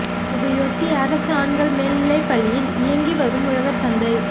இதையொட்டி அரசு ஆண்கள் மேல்நிலைப் பள்ளியில் இயங்கி வரும் உழவர் சந்தை